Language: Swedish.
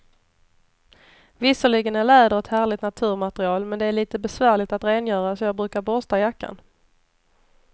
Visserligen är läder ett härligt naturmaterial, men det är lite besvärligt att rengöra, så jag brukar borsta jackan.